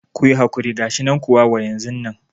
Kuyi hakuri gashinan kuwa wa yanzu nan